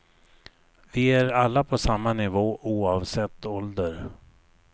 Vi är alla på samma nivå, oavsett ålder.